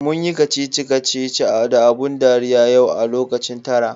Munyi kacici kacici da abun dariya yau a lokacin tara.